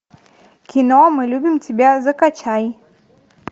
кино мы любим тебя закачай